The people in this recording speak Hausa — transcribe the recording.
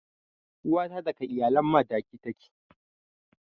Uwa ta daga iyalan Madaki take.